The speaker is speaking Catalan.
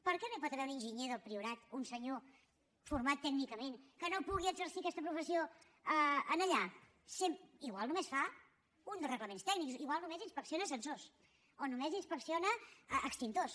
per què no hi pot haver un enginyer del priorat un senyor format tècnicament que pugui exercir aquesta professió allà potser només fa un dels reglaments tècnics potser només inspecciona ascensors o només inspecciona extintors